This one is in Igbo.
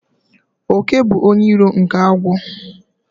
Òké bụ onye iro nke agwọ